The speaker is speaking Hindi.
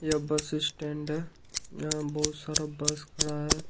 यह बस स्टैंड है जहां बहुत सारा बस खड़ा है।